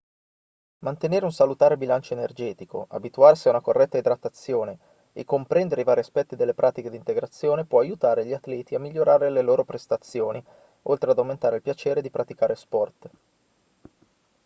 mantenere un salutare bilancio energetico abituarsi a una corretta idratazione e comprendere i vari aspetti delle pratiche di integrazione può aiutare gli atleti a migliorare le loro prestazioni oltre ad aumentare il piacere di praticare sport